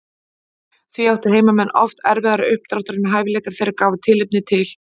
Því áttu heimamenn oft erfiðara uppdráttar en hæfileikar þeirra gáfu tilefni til.